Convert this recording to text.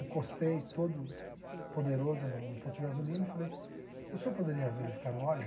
encostei todo poderoso no no posto de gasolina e falei, o senhor poderia verificar o óleo?